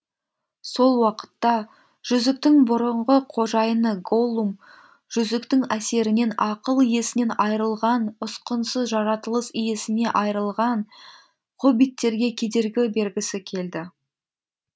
сол уақытта жүзіктің бұрынғы қожайыны голлум жүзіктің әсерінен ақыл есінен айырылған ұсқынсыз жаратылыс иесіне айырылған хоббиттерге кедергі бергісі келді